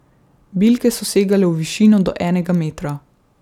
Bilke so segale v višino do enega metra.